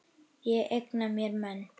Ég eigna mér menn.